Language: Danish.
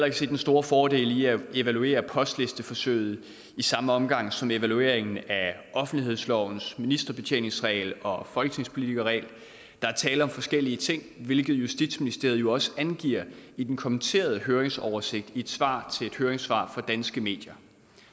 ikke se den store fordel i at evaluere postlisteforsøget i samme omgang som evalueringen af offentlighedslovens ministerbetjeningsregel og folketingspolitikerregel der er tale om forskellige ting hvilket justitsministeriet jo også angiver i den kommenterede høringsoversigt i et svar til et høringssvar fra danske medier